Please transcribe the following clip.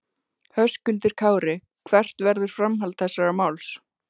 Höskuldur Kári: Hvert verður framhald þessa máls?